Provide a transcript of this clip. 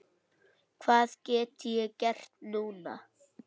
Hvað get ég gert núna?